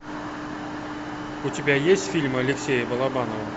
у тебя есть фильмы алексея балабанова